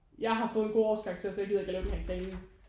Jeg har fået en god årskarakter så jeg gider ikke til denne her eksamen